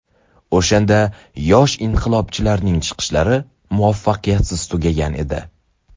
O‘shanda yosh inqilobchilarning chiqishlari muvaffaqiyatsiz tugagan edi.